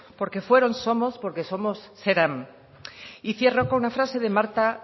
porque fueron somos porque somos serán y cierro con una frase de marta